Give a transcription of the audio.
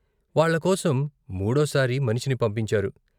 వాళ్ళకోసం మూడోసారి మనిషిని పంపించారు.